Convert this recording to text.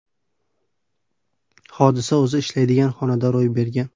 Hodisa o‘zi ishlaydigan xonada ro‘y bergan.